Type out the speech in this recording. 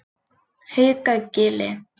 Haukagili